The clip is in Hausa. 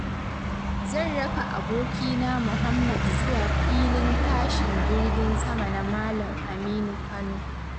Zan raka abokina Muhammad zuwa Filin tashin jirgin sama na Malam Aminu Kano.